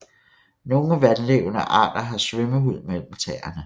Nogle vandlevende arter har svømmehud mellem tæerne